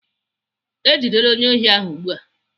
Ejidela onye ohi ahụ ugbu a.